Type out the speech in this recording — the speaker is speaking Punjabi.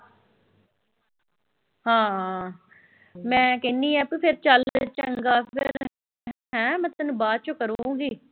ਹਾਂ, ਮੈਂ ਕਹਿਨੀ ਆਂ ਤੂੰ ਫਿਰ ਚਲ ਫਿਰ ਚੰਗਾ ਫਿਰ ਹੈਂ, ਮੈਂ ਤੈਨੂੰ ਬਾਅਦ ਚੋਂ ਕਰੂੰਗੀ।